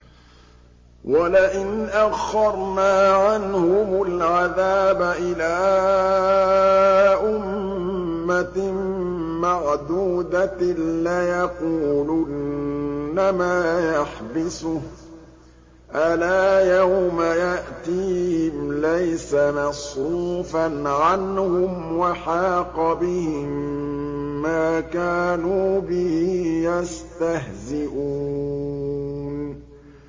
وَلَئِنْ أَخَّرْنَا عَنْهُمُ الْعَذَابَ إِلَىٰ أُمَّةٍ مَّعْدُودَةٍ لَّيَقُولُنَّ مَا يَحْبِسُهُ ۗ أَلَا يَوْمَ يَأْتِيهِمْ لَيْسَ مَصْرُوفًا عَنْهُمْ وَحَاقَ بِهِم مَّا كَانُوا بِهِ يَسْتَهْزِئُونَ